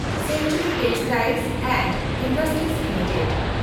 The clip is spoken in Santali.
century textile and industries limited